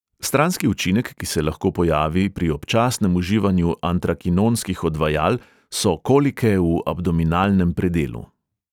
Stranski učinek, ki se lahko pojavi pri občasnem uživanju antrakinonskih odvajal, so kolike v abdominalnem predelu.